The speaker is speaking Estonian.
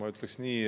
Ma ütleksin nii.